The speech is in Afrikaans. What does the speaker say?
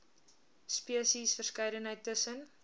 spesies verskeidenheid tussen